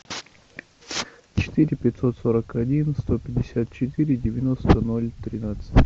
четыре пятьсот сорок один сто пятьдесят четыре девяносто ноль тринадцать